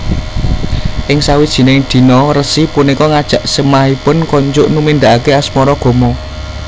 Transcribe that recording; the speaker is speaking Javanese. Ing sawijining dina resi punika ngajak semahipun konjuk numindakake asmaragama